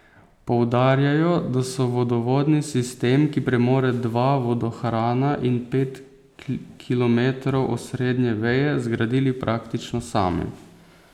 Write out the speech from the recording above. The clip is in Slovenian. Poudarjajo, da so vodovodni sistem, ki premore dva vodohrana in pet kilometrov osrednje veje, zgradili praktično sami.